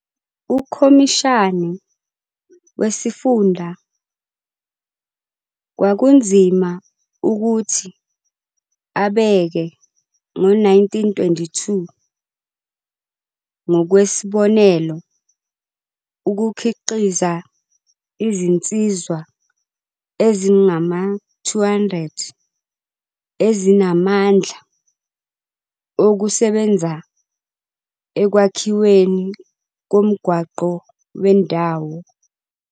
UKhomishani wesiFunda kwakunzima ukuthi abeke ngo-1922 ngokwesibonelo ukukhiqiza izinsizwa ezingama-200 ezinamandla okuzosebenza ekwakhiweni komgwaqo wendawo.